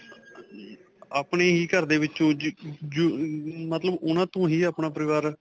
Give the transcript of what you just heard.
ਆਪਣੇ ਹੀ ਘਰ ਦੇ ਵਿੱਚ ਮਤਲਬ ਉਨ੍ਹਾਂ ਤੋਂ ਹੀ ਆਪਣਾ ਪਰਿਵਾਰ.